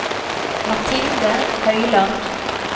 Mathilde Høyland